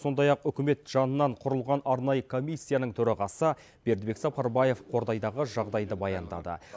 сондай ақ үкімет жанынан құрылған арнайы комиссияның төрағасы бердібек сапарбаев қордайдағы жағдайды баяндады